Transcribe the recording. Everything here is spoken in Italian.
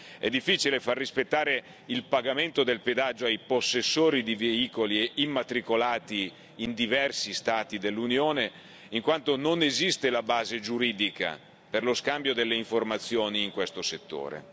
È difficile far rispettare il pagamento del pedaggio ai possessori di veicoli immatricolati in diversi Stati dell'Unione, in quanto non esiste la base giuridica per lo scambio delle informazioni in questo settore.